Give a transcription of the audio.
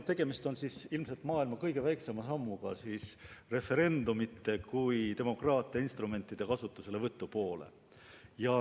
Tegemist on ilmselt maailma kõige väiksema sammuga referendumite kui demokraatia instrumentide kasutuselevõtu poole.